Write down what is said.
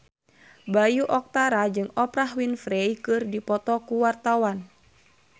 Bayu Octara jeung Oprah Winfrey keur dipoto ku wartawan